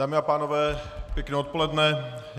Dámy a pánové, pěkné odpoledne.